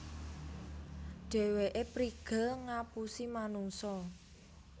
Dhèwèké prigel ngapusi manungsa